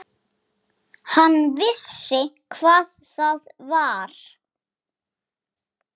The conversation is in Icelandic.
Hann vissi hvað það var.